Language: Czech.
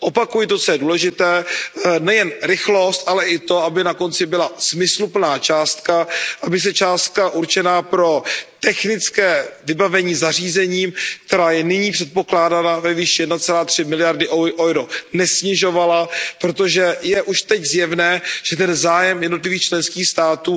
Opakuji to, co je důležité, nejen rychlost, ale i to, aby na konci byla smysluplná částka, aby se částka určená pro technické vybavení zařízením, která je nyní předpokládaná ve výši 1,3 miliardy EUR, nesnižovala, protože je už teď zjevné, že ten zájem jednotlivých členských států